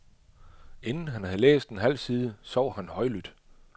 Inden han havde læst en halv side, sov han højlydt.